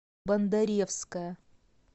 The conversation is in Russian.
бондаревская